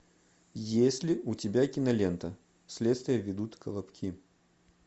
есть ли у тебя кинолента следствие ведут колобки